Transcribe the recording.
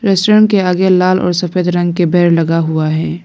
Restaurant के आगे लाल और सफेद रंग के बेड लगा हुआ है।